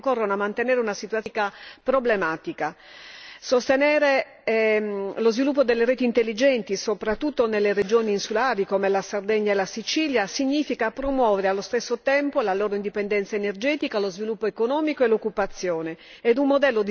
Sostenere lo sviluppo delle reti intelligenti, soprattutto nelle regioni insulari come la Sardegna e la Sicilia significa promuovere allo stesso tempo la loro indipendenza energetica, lo sviluppo economico e l'occupazione ed un modello di sviluppo sostenibile che è il fulcro del progetto europeo dei prossimi anni.